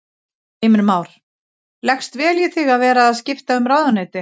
Heimir Már: Leggst vel í þig að vera skipta um ráðuneyti?